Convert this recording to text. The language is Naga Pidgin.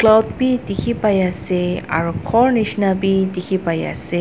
cloud bi dikhipaiase aro khor nishina bi dikhipaiase.